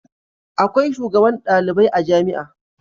Akwai shugaban ɗalibai a jamia